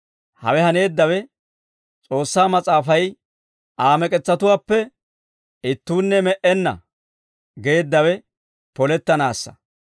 Hewe haneeddawe S'oossaa Mas'aafay, «Aa mek'etsatuwaappe ittuunne me"enna» geeddawe polettanaassa.